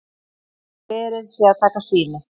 Verið sé að taka sýni